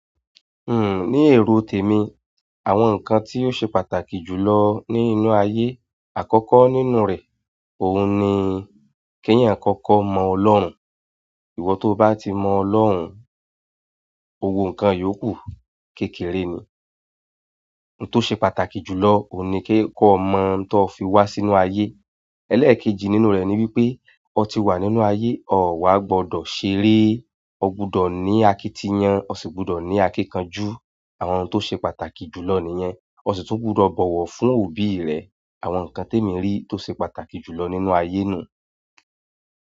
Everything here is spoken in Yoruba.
Uhm, ní èrò tèmi, àwọn nǹkan tí ó ṣe pàtàkì jùlọ nínú ayé, àkọ́kọ́ nínú rè, ohun ni kí èyan kọ́kọ́ mọ ọlọ́run iwọ tó bá ti mọ́ Olórun, gbogbo nǹkan yóò kú. Kẹ́kẹ́re ni. Ohun tó ṣe pàtàkì jùlọ ohun ni ke ki o mọ ohun tó fi wá sínú ayé. Élékéjì nínú rè ni wípé, ọ ti wà nínú ayé, ọ wà gbọdọ̀ ṣeré. O gbọdọ̀ ní àkìtì yan, o sì gbọdọ̀ ní àkínkanjú. Àwọn ohun tó ṣe pàtàkì jùlọ nìyẹn. O sì tún gbọdọ̀ bọ̀wọ̀ fún òbí rẹ. Àwọn nǹkan tèmi rí tó ṣe pàtàkì jùlọ nínú ayé nu un.